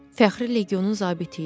Fəxri Legionun zabiti idi.